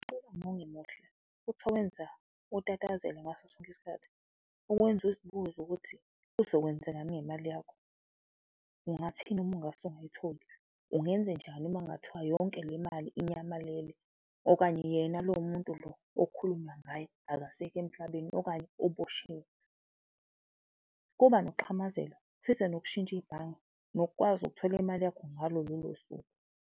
Utatazele ngaso sonke isikhathi, kukwenza uzibuze ukuthi kuzokwenzekani ngemali yakho? Ungathini uma ungase ungayitholi? Ungenzenjani uma kungathiwa yonke le mali inyamalele okanye yena lo muntu lo okukhulunywa ngaye akasekho emhlabeni okanye uboshiwe? Kuba nokuxhamazela, ufise nokushintsha ibhange nokukwazi ukuthola imali yakho ngalo lolo suku.